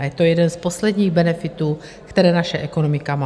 A je to jeden z posledních benefitů, které naše ekonomika má.